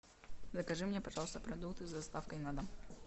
закажи мне пожалуйста продукты с доставкой на дом